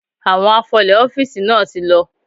Àwọn afọlè ọ́fíìsì náà ti lọ.